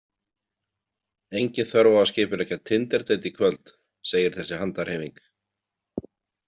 Engin þörf á að skipuleggja tinderdeit í kvöld, segir þessi handarhreyfing.